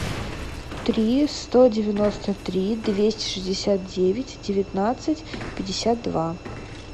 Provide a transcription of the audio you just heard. три сто девяносто три двести шестьдесят девять девятнадцать пятьдесят два